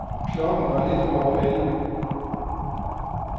Klokken var lidt over elleve.